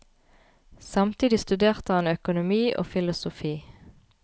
Samtidig studerte han økonomi og filosofi.